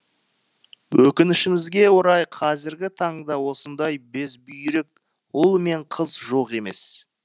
өкінішімізге орай қазіргі таңда осындай безбүйрек ұл мен қыз жоқ емес